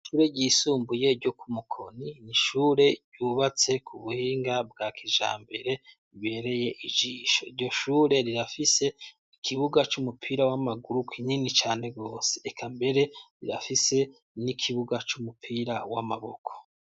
ishure ry'isumbuye ryo ku Mukoni nishure ryubatse ku buhinga bwa kijambere ibereye ijisho iryo shure rirafise ikibuga c'umupira w'amaguru kinini cane bose eka mbere rirafise n'ikibuga w'amaboko.